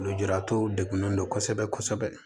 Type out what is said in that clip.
Lujuratɔw degunnen don kosɛbɛ kosɛbɛ